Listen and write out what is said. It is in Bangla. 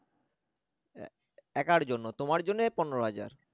একার জন্য তোমার জন্যে পনেরো হাজার